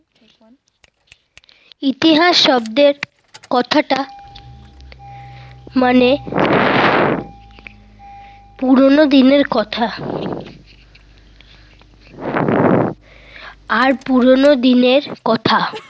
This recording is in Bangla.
ইতিহাস শব্দের কথাটা মানে পুরোনো দিনের কথা। আর পুরোনো দিনের কথা